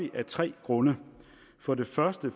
vi af tre grunde for det første